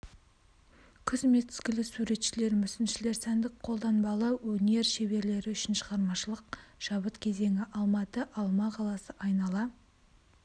күз мезгілі суретшілер мүсіншілер сәндік қолданбалы өнер шеберлері үшін шығармашылық шабыт кезеңі алматы алма қаласы айнала